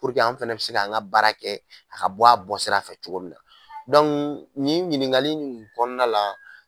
Puruke an fɛnɛ be se ka an ka baara kɛ a ka bɔ a bɔ sira fɛ cogo min na nin ɲininkali in kɔnɔna la